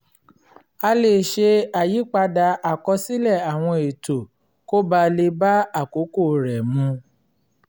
a lè ṣe àyípadà àkọsílẹ̀ àwọn ètò kó ba lè bá àkókò rẹ mu